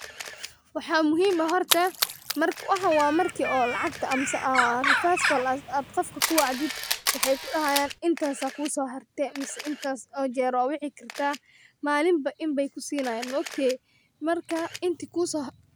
Wxa muhim ah horta, wxa marki lacgtaamaad reverse call ad qofka kuwacdid, wxay kudahayan inta kuso harte mise intas o jer a waci karta, malimba In bay kusinayun maogte marka iintakusharte